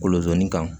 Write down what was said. Kolonzanni kan